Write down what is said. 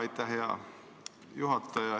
Aitäh, hea juhataja!